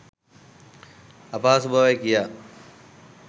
අපහසු බවයි, කියා.